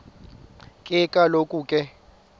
ke kaloku ke